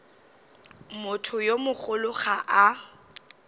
motho yo mogolo ga a